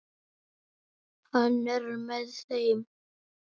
Hann er með þeim.